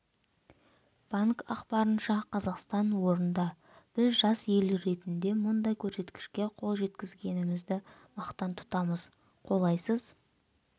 банк ақпарынша қазақстан орында біз жас ел ретінде мұндай көрсеткішке қол жеткізгенімізді мақтан тұтамыз қолайсыз